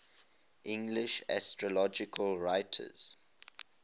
english astrological writers